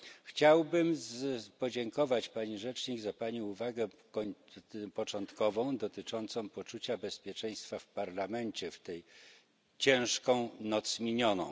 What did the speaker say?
Chciałbym podziękować pani rzecznik za pani uwagę początkową dotyczącą poczucia bezpieczeństwa w Parlamencie w tą ciężką noc minioną.